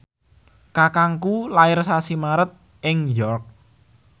kakangku lair sasi Maret ing York